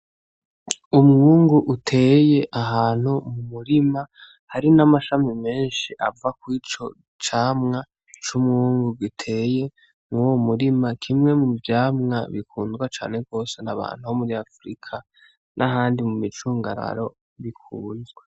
Umwungu uteye ahantu mu murima, hari n'amashami menshi ava kuri ico camwa c'umwungu giteye muri uwo murima, kimwe mu vyamwa bikundwa cane gose n'abantu bo muri Afurika n'ahandi mu micungararo bikunzwe.